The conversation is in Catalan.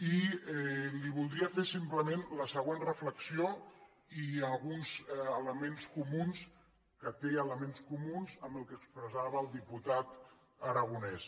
i li voldria fer simplement la següent reflexió que té elements comuns amb el que expressava el diputat aragonès